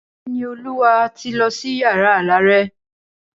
Ìníolúwa ti lọ sí yàrá alárẹ̀.